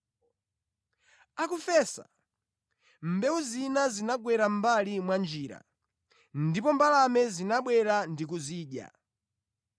Akufesa, mbewu zina zinagwera mʼmbali mwa njira, ndipo mbalame zinabwera ndi kuzidya.